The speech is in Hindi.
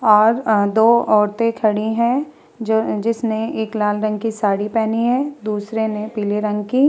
और अ दो औरतें खड़ी हैं जो अ जिसने एक लाल रंग की साड़ी पेहनी हैं दूसरे ने पीले रंग की --